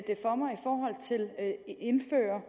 indføre